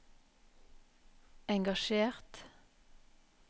engasjert